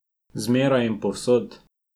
Zmeraj in povsod.